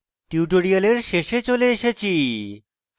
tutorial শেষে চলে এসেছি